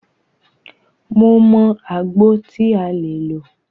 Mo mọ àgbo tí a lè lò.